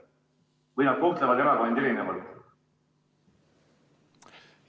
Või nad kohtlevad erakondi erinevalt?